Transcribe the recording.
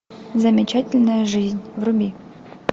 замечательная жизнь вруби